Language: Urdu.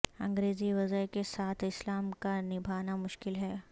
انگریزی وضع کے ساتھ اسلام کا نبھانا مشکل ہے